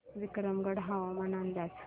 विक्रमगड हवामान अंदाज